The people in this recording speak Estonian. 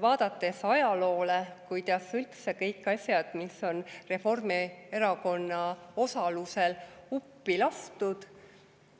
Vaadates ajalugu, kuidas üldse kõikide asjade puhul, mis on Reformierakonna osalusel uppi lastud,